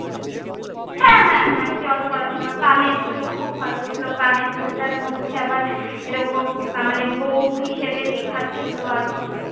হ্যাঁ হ্যাঁ হ্যাঁ জলপড়া সোনা, কানের দুল খুব ভালো ছিলো, কানের দুলটার মধ্যে আবার এরকম মানে বউ হিসেবে লেখা ছিলো আর কি।